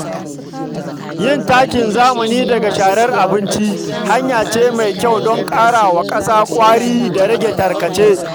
Yin takin zamani daga sharar abinci hanya ce mai kyau don ƙara wa ƙasa ƙwari da rage tarkace.